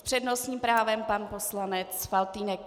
S přednostním právem pan poslanec Faltýnek.